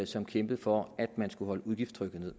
som kæmpede for at man skulle holde udgiftstrykket nede